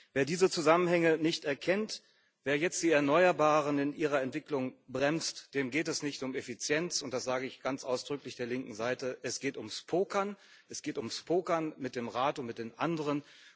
Wer diese Zusammenhänge nicht erkennt, wer jetzt die Erneuerbaren in ihrer Entwicklung bremst, dem geht es nicht um Effizienz und das sage ich ganz ausdrücklich der linken Seite es geht ums Pokern, es geht ums Pokern mit dem Rat und mit den anderen.